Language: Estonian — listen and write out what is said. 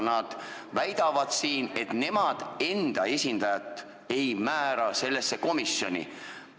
Nad väidavad siin, et nemad enda esindajat sellesse komisjoni ei määra.